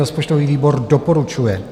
Rozpočtový výbor doporučuje.